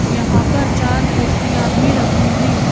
यहाँ पर चार कुर्सियाँ भी रखी हैं ।